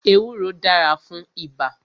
Ewúro dára fún ibà